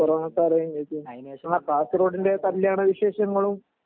corona കാസർകോടിന്റെ കല്യാണ വിശേഷങ്ങളും